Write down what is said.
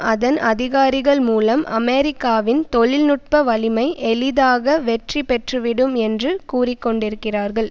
அதன் அதிகாரிகள் மூலம் அமெரிக்காவின் தொழில் நுட்ப வலிமை எளிதாக வெற்றி பெற்றுவிடும் என்று கூறிக்கொண்டிருக்கிறார்கள்